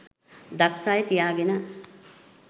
දක්ෂ අය තියාගෙන